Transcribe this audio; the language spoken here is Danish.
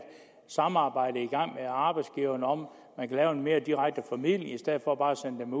samarbejde i gang med arbejdsgiveren om at lave en mere direkte formidling i stedet for bare at sende